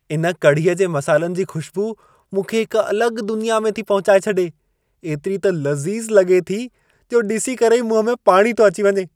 इन कड़ीअ जे मसालनि जी खु़शबू मूंखे हिक अलगि॒ दुनिया में थी पहुचाए छॾे। एतिरी त लज़ीज़ु लॻे थी, जो ॾिसी करे ई मुंह में पाणी थो अची वञे।